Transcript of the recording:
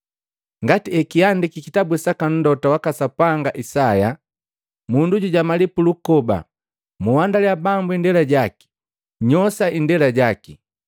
Ngati ekiandiki kitabu saka mlota waka Sapanga Isaya, “Mundu jujamali pulukoba, ‘Muhandaliya Bambu indela jaki, nnyoosha indela jaki!